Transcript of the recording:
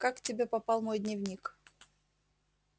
как к тебе попал мой дневник